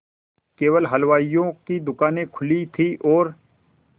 केवल हलवाइयों की दूकानें खुली थी और